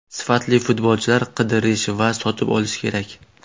Sifatli futbolchilar qidirish va sotib olish kerak.